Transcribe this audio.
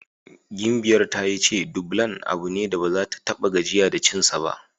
Gimbiyar ta yi ce Dublan abu ne da baza ta ta6a gajiya da cinsa ba.